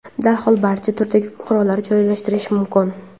darhol barcha turdagi qurollar joylashtirilishi mumkin.